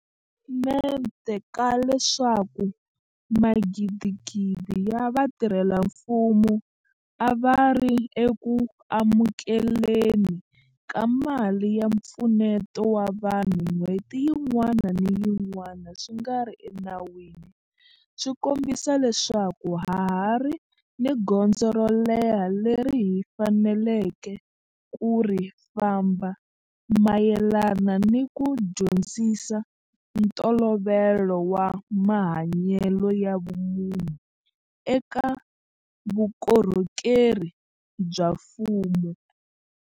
mente ka leswaku magidigidi ya vatirhela mfumo a va ri eku amukele ni ka mali ya mpfuneto wa vanhu n'hweti yin'wana ni yin'wana swi nga ri ena wini swi kombisa leswaku ha ha ri ni gondzo ro leha leri hi faneleke ku ri famba mayelana ni ku dyondzisa ntolovelo wa mahanyelo ya vumunhu eka vuko rhokeri bya mfumo.